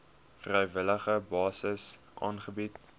vrywillige basis aangebied